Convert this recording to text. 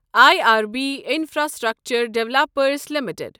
I R B infrastructure developers limited